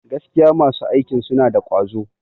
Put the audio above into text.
Gaskiya masu aikin suna da ƙwazo.